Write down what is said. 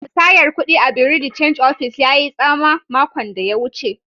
Musayar kudi a'bureau de change office yayi tsama makon da ya wuce.